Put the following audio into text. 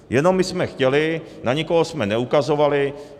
Jenom my jsme chtěli, na nikoho jsme neukazovali.